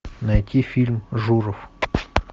найти фильм журов